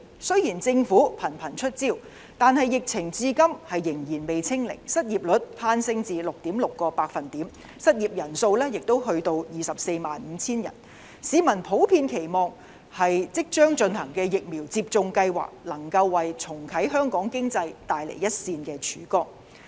雖然政府頻頻出招，但疫情至今仍未"清零"，失業率更攀升至 6.6%， 失業人數亦達到 245,000 人，市民普遍期望即將進行的疫苗接種計劃能夠為重啟香港經濟帶來一線的曙光。